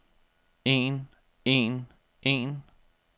en en en